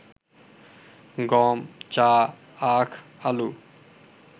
গম, চা, আখ, আলু